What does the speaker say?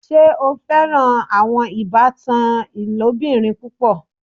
Ṣe o fẹ́ran awọn ìbàtàn ilobìrín púpọ̀?